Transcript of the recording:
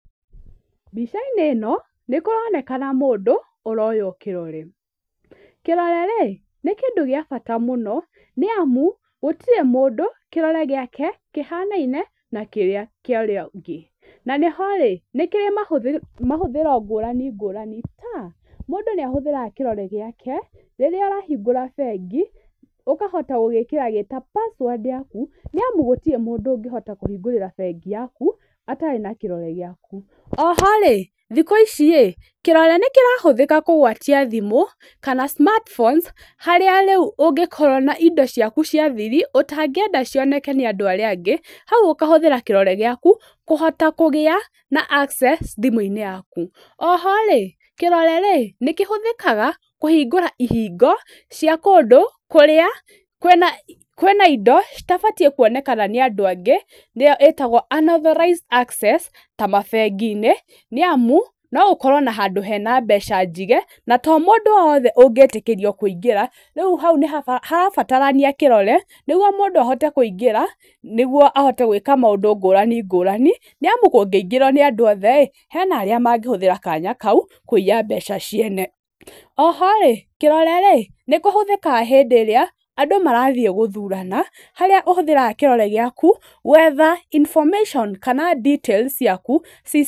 Mbica-inĩ ĩno nĩ kũronekana mũndũ, ũroywo kĩrore. Kĩrore rĩ, nĩ kĩndũ gĩa bata mũno, nĩ amu gũtirĩ mũndũ kĩrore gĩake kĩhanaine na kĩrĩa kĩa ũrĩa ũngĩ. Na nĩho rĩ, nĩ kĩrĩ mahũthĩro ngũrani ngũrani ta, mũndũ nĩ ahũthĩraga kĩrore gĩake rĩrĩa arahingũra bengi, ũkahota gũgĩkĩra gĩ ta password yaku, nĩ amu gũtirĩ mũndũ ũngĩhota kũhingũrĩra bengi yaku atarĩ na kĩrore gĩaku. Oho rĩ, kĩrore nĩ kĩrahũthĩka kũgwatia thimũ kana smartphones harĩa rĩu ũngĩkorwo na indo ciaku cia thiri ũtangĩenda cioneke nĩ andũ arĩa angĩ, hau ũkahũthĩra kĩrore gĩaku kũhota kũgĩa na access thimũ-inĩ yaku, oho rĩ, kĩrore rĩ, nĩ kĩhũthĩkaga kũhingũra ihingo cia kũndũ kũrĩa kwĩna indo citabatiĩ kuonekana nĩ andũ angĩ nĩyo ĩtagwo unauthorised access ta mabengi-inĩ, nĩ amu, no ũkorwo handũ hena mbeca njige, na to mũndũ wothe ũngĩtĩkĩrio kũingĩra rĩu hau nĩ harabatarania kĩrore, nĩguo mũndũ ahote kũingĩra nĩguo ahote gwĩka maũndũ ngũrani ngũrani, nĩ amu kũngĩingĩrwo nĩ andũ othe ĩ, hena arĩa mangĩhũthĩra kanya kau kũiya mbeca ciene. Oho kĩrore rĩ, nĩ kĩhũthĩkaga hĩndĩ ĩrĩa andũ marathiĩ gũthurana, harĩa ũhũthĩraga kĩrore gĩaku, gwetha information kana details ciaku sytem -inĩ.